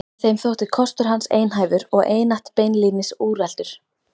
Þeim þótti kostur hans einhæfur og einatt beinlínis úreltur.